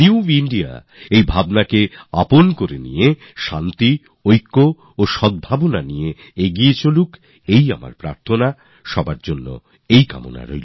new India এই ভাবনাকে আপন করে শান্তি একতা আর সদ্ভাবনার সঙ্গে এগিয়ে যাক এই আমার কামনা আমাদের সকলের কামনা